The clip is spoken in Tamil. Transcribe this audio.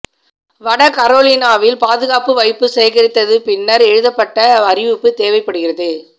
வட கரோலினாவில் பாதுகாப்பு வைப்பு சேகரித்தது பின்னர் எழுதப்பட்ட அறிவிப்பு தேவைப்படுகிறது